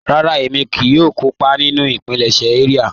Rárà, ẹ̀mí kíì yóò kọ́pà nínu ìpílẹ̀ṣẹ̀ ìria.